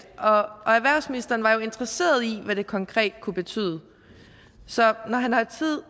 og erhvervsministeren var jo interesseret i hvad det konkret kunne betyde så når han har tid